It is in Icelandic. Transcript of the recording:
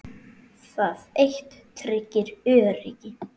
Það eitt tryggir öryggi.